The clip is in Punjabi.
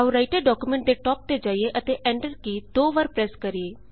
ਆਉ ਰਾਈਟਰ ਡਾਕੂਮੈਂਟ ਦੇ ਟਾਪ ਤੇ ਜਾਈਏ ਅਤੇ ਐਂਟਰ ਕੀ ਦੋ ਵਾਰ ਪ੍ਰੈਸ ਕਰਿਏ